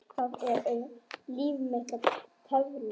Það er um líf mitt að tefla.